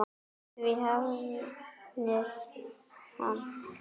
Því hafnaði hann.